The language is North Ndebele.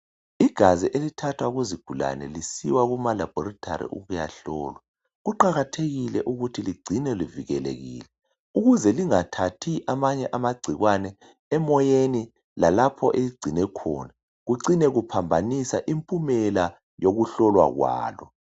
Igazi elithathwa kuzigulane lisiwa kumalabhorithari ukuyahlolwa. Kuqakathekile ukuthi ligcinwe luvikelekile ukuze lingathathi amanye amagcikwane emoyeni lalapho eligcinwe khona. Kuncine kuphambanisa impumela yokuhlolwa kwalo.